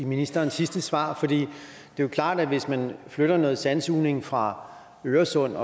ministerens sidste svar for det er jo klart at hvis man flytter noget sandsugning fra øresund